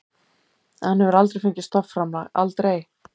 Hann hefur aldrei fengið stofnframlag, aldrei.